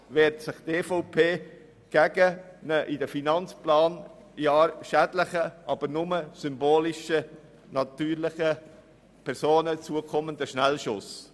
Die EVP wehrt sich gegen einen in den Finanzplanjahren schädlichen, nur symbolisch den natürlichen Personen zukommenden Schnellschuss.